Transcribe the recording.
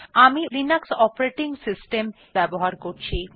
আমি Linux operating system ব্যবহার করছি